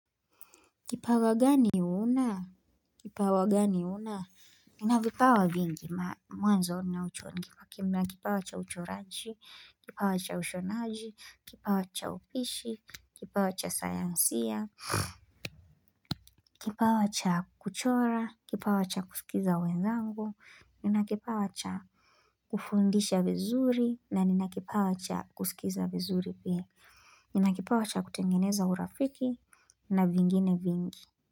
Kipawa gani una? Kipawa gani uuna? Ninavipawa vingi mwanzo ninaucho. Kipawa cha uchoraji, kipawa cha ushonaji, kipawa cha upishi, kipawa cha sayansia, kipawa cha kuchora, kipawa cha kusikiza wenzangu, ninakipawa cha kufundisha vizuri, na ninakipawa cha kusikiza vizuri pia. Ninakipawa cha kutengeneza urafiki, na vingine vingi.